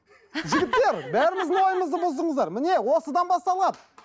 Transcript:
жігіттер бәріміздің ойымызды бұздыңыздар міне осыдан басталады